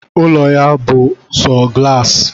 Ụlọ ya bú sọ galaasi